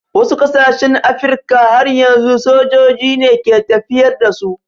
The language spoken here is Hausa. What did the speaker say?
Wasu ƙasashen Afirka har yanzu sojoji ne ke tafiyar da su.